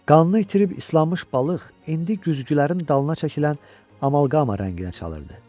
Qanı itirib islanmış balıq indi güzgülərin dalına çəkilən amalqama rənginə çalırdı.